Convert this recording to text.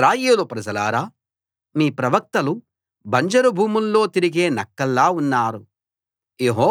ఇశ్రాయేలు ప్రజలారా మీ ప్రవక్తలు బంజరు భూముల్లో తిరిగే నక్కల్లా ఉన్నారు